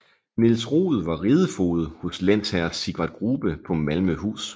Niels Roed var ridefoged hos lensherre Sigvard Grubbe på Malmøhus